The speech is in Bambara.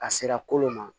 A sera kolon ma